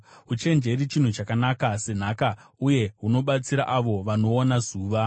Uchenjeri chinhu chakanaka senhaka, uye hunobatsira avo vanoona zuva.